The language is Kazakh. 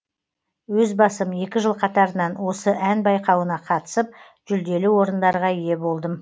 өз басым екі жыл қатарынан осы ән байқауына қатысып жүлделі орындарға ие болдым